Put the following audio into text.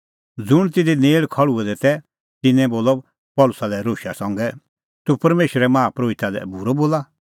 ज़ुंण तिधी नेल़ खल़्हुऐ दै तै तिन्नैं बोलअ पल़सी लै रोशा संघै तूह परमेशरे माहा परोहिता लै बूरअ बोला